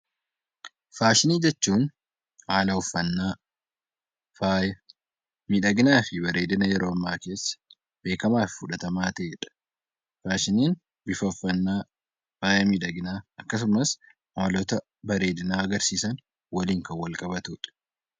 Faashinii jechuun haala uffannaa, miidhaginaa fi bareedina yeroo ammaa keessa beekamaa fi fudhatama ta'edha. Faashiniin bifa uffannaa, faaya miidhaginaa akkasumas haalota bareedina agarsiisan waliin kan wal qabatudha.